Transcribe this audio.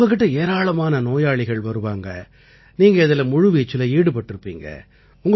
உங்க கிட்ட ஏராளமான நோயாளிகள் வருவாங்க நீங்க இதில முழுவீச்சில ஈடுபட்டிருப்பீங்க